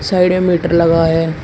Side में meter लगा है।